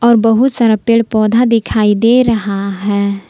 बहुत सारा पेड़ पौधा दिखाई दे रहा है।